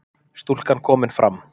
Stúlkan komin fram